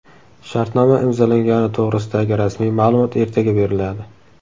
Shartnoma imzolangani to‘g‘risidagi rasmiy ma’lumot ertaga beriladi.